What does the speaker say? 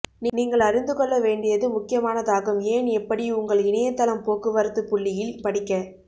நீங்கள் அறிந்துகொள்ள வேண்டியது முக்கியமானதாகும் ஏன் எப்படி உங்கள் இணையத்தளம் போக்குவரத்து புள்ளியியல் படிக்க